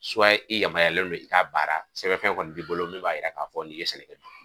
i yamaruyalen don i k'a baara sɛbɛnfɛn kɔni b'i bolo min b'a yira k'a fɔ n'i ye sɛnɛkɛ